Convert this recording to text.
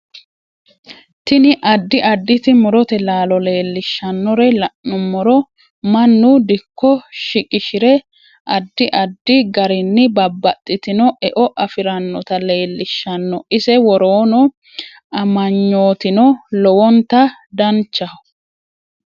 Tini addi additi murote laalo leelishanore la'numoro mannu dikko shiqishire addi adfi garinni babbaxitino e'o afiranota leelishanno ise woroono amagnootino lowonta danchaho